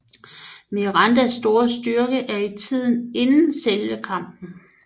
Mirandas store styrke er i tiden inden selve kampen